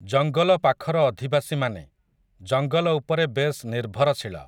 ଜଙ୍ଗଲ ପାଖର ଅଧିବାସୀମାନେ, ଜଙ୍ଗଲ ଉପରେ ବେଶ୍ ନିର୍ଭରଶୀଳ ।